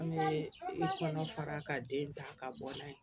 An bɛ i kɔnɔ fara ka den ta ka bɔ n'a ye